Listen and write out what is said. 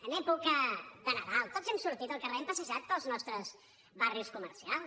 en època de nadal tots hem sortit al carrer hem passejat pels nostres barris comercials